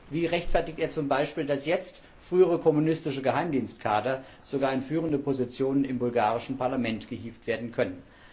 Wie rechtfertigt er zum Beispiel, dass jetzt frühere kommunistische Geheimdienstkader sogar in führende Positionen im bulgarischen Parlament gehievt werden können?